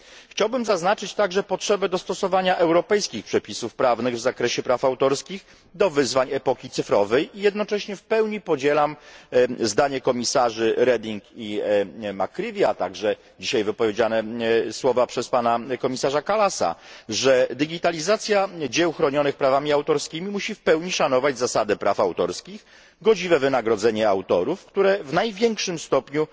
Chciałbym także zaznaczyć potrzebę dostosowania europejskich przepisów prawnych w zakresie praw autorskich do wyzwań epoki cyfrowej, jednocześnie w pełni podzielam zdanie komisarzy Reding i McCreevy'ego, a także słowa wypowiedziane dzisiaj przez komisarza Kallasa, że digitalizacja dzieł chronionych prawami autorskimi musi w pełni szanować zasadę praw autorskich, godziwe wynagrodzenie autorów, którzy w największym stopniu